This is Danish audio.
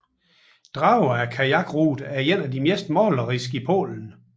Drawa kajakruten er en af de mest maleriske i Polen